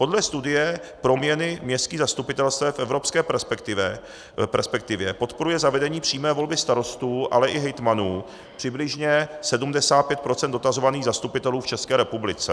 Podle studie Proměny městských zastupitelstev v evropské perspektivě podporuje zavedení přímé volby starostů, ale i hejtmanů přibližně 75 % dotazovaných zastupitelů v České republice.